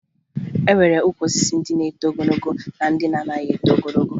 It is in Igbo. E nwere ukwu osisi ndị na-eto ogologo na ndị na-anaghị eto ogo